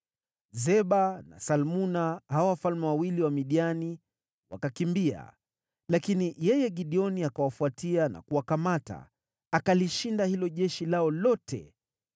Zeba na Salmuna, hao wafalme wawili wa Midiani, wakakimbia lakini yeye Gideoni akawafuata na kuwakamata, akalishinda hilo jeshi lao lote.